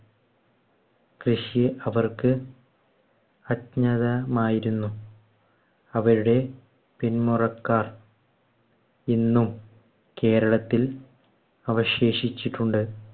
കൃഷി അവർക്ക് അജ്ഞതമായിരുന്നു. അവരുടെ പിൻമുറക്കാർ ഇന്നും കേരളത്തിൽ അവശേഷിച്ചിട്ടുണ്ട്.